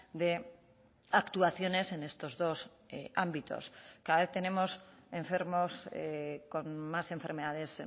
de actuaciones en estos dos ámbitos cada vez tenemos enfermos con más enfermedades